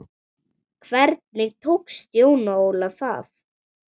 Hvernig tókst Jóni Óla það?